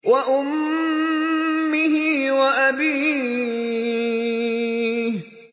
وَأُمِّهِ وَأَبِيهِ